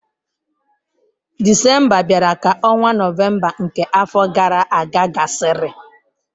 Disemba bịara ka ọnwa Nọvemba nke afọ gara aga gasịrị.